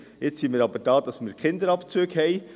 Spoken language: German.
Jetzt sind wir aber hier, damit wir Kinderabzüge haben.